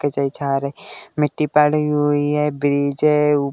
झा रही मिट्टी पड़ी हुई है। --